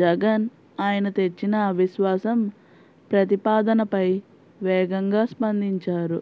జగన్ ఆయన తెచ్చిన అవిశ్వాసం ప్రతిపాదనపై వేగంగా స్పందించారు